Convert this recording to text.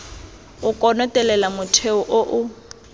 o konotelela motheo o o